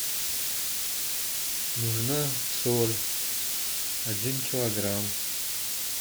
нужна соль один килограмм